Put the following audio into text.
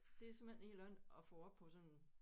Det er simpelthen helt andet at få op på sådan